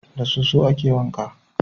Da soso a ke wanka